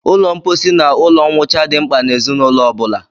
Ụlọ mposi na ụlọ mwụcha dị mkpa n'ezinụlọ ọ bụla